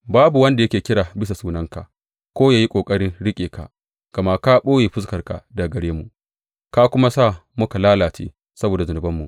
Babu wanda yake kira bisa sunanka ko ya yi ƙoƙarin riƙe ka; gama ka ɓoye fuskarka daga gare mu ka kuma sa muka lalace saboda zunubanmu.